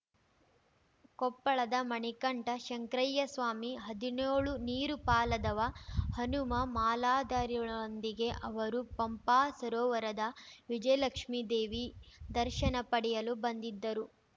ಕೊಪ್ಪಳದ ಮಣಿಕಂಠ ಶಂಕ್ರಯ್ಯಸ್ವಾಮಿಹದಿನ್ಯೋಳು ನೀರು ಪಾಲಾದವ ಹನುಮ ಮಾಲಾಧಾರಿಗಳೊಂದಿಗೆ ಅವರು ಪಂಪಾ ಸರೋವರದ ವಿಜಯಲಕ್ಷ್ಮಿ ದೇವಿ ದರ್ಶನ ಪಡೆಯಲು ಬಂದಿದ್ದರು